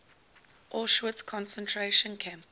auschwitz concentration camp